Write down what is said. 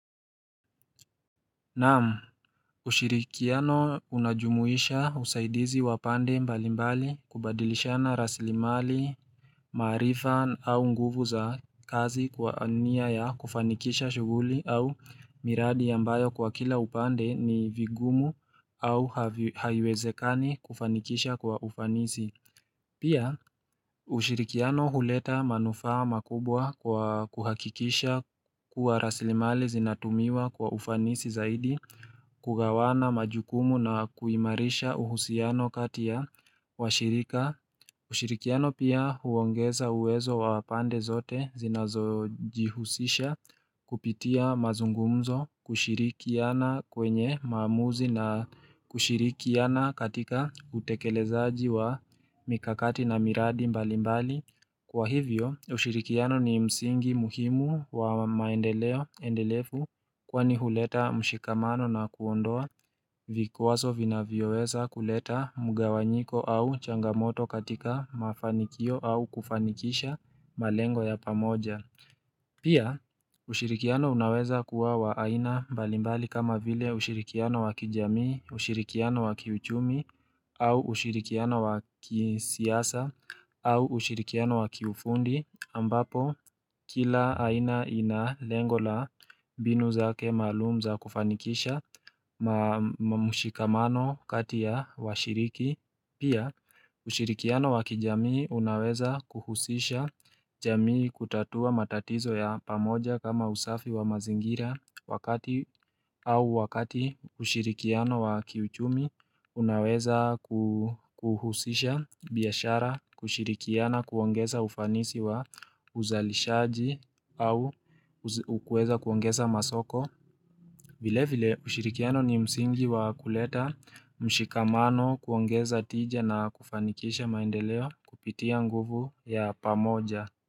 Naam, ushirikiano unajumuisha usaidizi wapande mbalimbali kubadilishana rasilimali marifa au nguvu za kazi kwa nia ya kufanikisha shuguli au miradi ambayo kwa kila upande ni vigumu au haiwezekani kufanikisha kwa ufanisi. Pia ushirikiano huleta manufaa makubwa kwa kuhakikisha kuwa raslimali zinatumiwa kwa ufanisi zaidi kugawana majukumu na kuimarisha uhusiano kati ya washirika. Ushirikiano pia huongeza uwezo wa pande zote zinazo jihusisha kupitia mazungumzo kushirikiana kwenye maamuzi na kushirikiana katika utekelezaji wa mikakati na miradi mbali mbali. Kwa hivyo, ushirikiano ni msingi muhimu wa maendeleo endelefu kwani huleta mshikamano na kuondoa vikwaso vinavyoweza kuleta mugawanyiko au changamoto katika mafanikio au kufanikisha malengo ya pamoja. Pia ushirikiano unaweza kuwa waaina mbalimbali kama vile ushirikiano wakijamii, ushirikiano wakiuchumi au ushirikiano wakisiasa au ushirikiano wakiufundi ambapo kila aina ina lengo la mbinu zake maalum za kufanikisha mamushikamano kati ya washiriki. Pia ushirikiano wa kijamii unaweza kuhusisha jamii kutatua matatizo ya pamoja kama usafi wa mazingira wakati au wakati ushirikiano wa kiuchumi unaweza ku kuhusisha biashara kushirikiana kuongeza ufanisi wa uzalishaji au ukweza kuongeza masoko vile vile ushirikiano ni msingi wa kuleta mshikamano kuongeza tija na kufanikisha maendeleo kupitia nguvu ya pamoja.